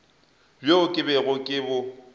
bjo ke bego ke bo